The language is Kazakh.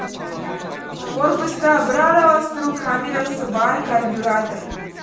корпуста бір араластыру камерасы бар карбюратор